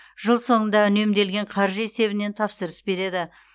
жыл соңында үнемделген қаржы есебінен тапсырыс береді